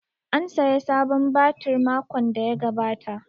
An saya sabon batir makon da ya gabata